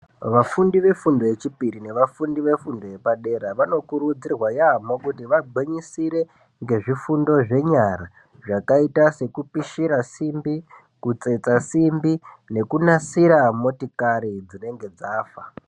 Vafundi vefundo yechipiri nevafundi vefundo yepadera , vanokurudzirwa yaamho kuti vagwinyisire ngezvifundo zvenyara zvakaita sekupishira simbi, kutsetsa simbi nekunasira motikari dzinenge dzafa.